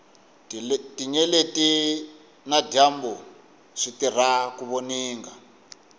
tinyeleti na dyambu switirha ku voninga